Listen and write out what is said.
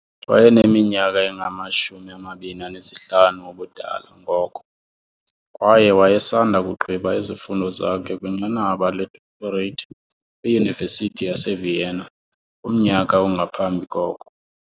Wayeneminyaka engama-25 ubudala ngoko, kwaye wayesanda kugqiba izifundo zakhe kwinqanaba ledoctorate kwiUniversity yase Vienna kumnyaka ongaphambi koko.